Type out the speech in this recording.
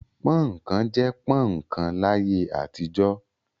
Pọ́ń-ọ̀n kan' jẹ́ pọ́ń-ọ̀n kan láyé àtijọ́.